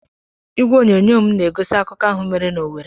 Igwe onyonyo m na-egosi akụkọ ahụ mere n'Owerri.